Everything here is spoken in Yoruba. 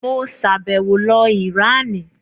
Mo sàbẹ̀wo lọ Ìránì